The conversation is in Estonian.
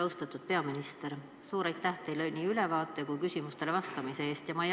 Austatud peaminister, suur aitäh teile nii ülevaate kui ka küsimustele vastamise eest!